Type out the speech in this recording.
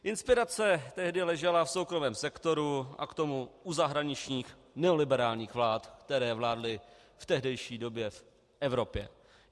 Inspirace tehdy ležela v soukromém sektoru a k tomu u zahraničních neoliberálních vlád, které vládly v tehdejší době v Evropě.